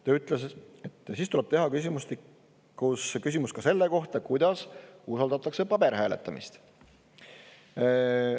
Ta ütles, et siis tuleb teha küsimustik, kus on küsimus ka selle kohta, kuidas usaldatakse paberhääletamist.